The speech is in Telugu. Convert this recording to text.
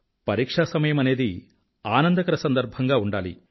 పరిక్షాసమయమనేది ఆనందకర సందర్భంగా ఉండాలి